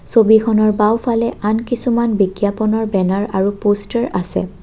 ছবিখনৰ বাওঁফালে আন কিছুমান বিজ্ঞাপনৰ বেনাৰ আৰু পষ্টাৰ আছে।